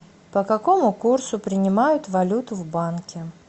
по какому курсу принимают валюту в банке